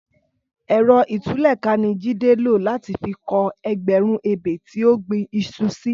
Ẹrọ itùlẹká ni Jide ló làtí fi kọ̀ ẹgbẹrùn ébé ti ó gbin iṣú si